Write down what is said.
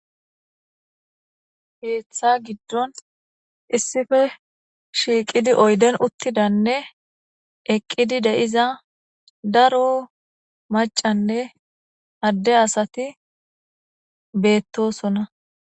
heeththa giddon issife shiiqidi oyden uttidanne eqqidi de7iza daro macanne adde asati beettosona